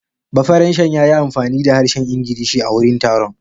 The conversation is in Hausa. Bafaranshen ya yi amfani da harshen Ingilishi a wurin taron.